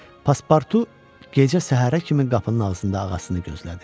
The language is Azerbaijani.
Paspartu gecə səhərə kimi qapının ağzında ağasını gözlədi.